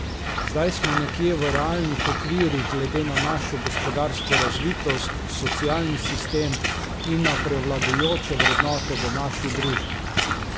Zdaj smo nekje v realnih okvirih glede na našo gospodarsko razvitost, socialni sistem in na prevladujoče vrednote v naši družbi.